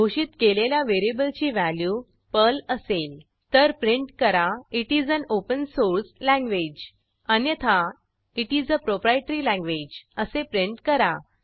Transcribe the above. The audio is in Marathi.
घोषित केलेल्या व्हेरिएबलची व्हॅल्यू पर्ल असेल तर प्रिंट करा it is an open source language अन्यथा आयटीएस आ प्रोप्रायटरी लँग्वेज असे प्रिंट करा